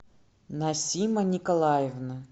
насима николаевна